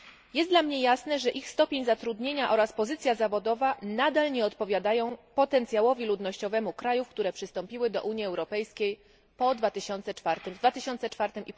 Jest dla mnie jasne, że ich stopień zaszeregowania oraz pozycja zawodowa nadal nie odpowiadają potencjałowi ludnościowemu krajów, które przystąpiły do Unii Europejskiej w 2004